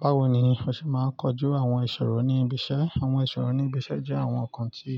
Bawo ni o ṣe máa ń kojú àwọn ìṣòro ní ibi iṣẹ́? Àwọn ìṣòro ní ibi iṣẹ́ jẹ́ àwọn nǹkan tí